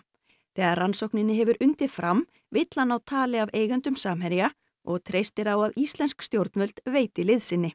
þegar rannsókninni hefur undið fram vill hann ná tali af eigendum Samherja og treystir á að íslensk stjórnvöld veiti liðsinni